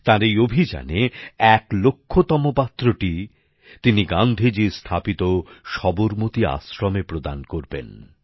তার এই অভিযানে এক লক্ষতম পাত্রটি তিনি গান্ধীজী স্থাপিত সবরমতী আশ্রমে প্রদান করবেন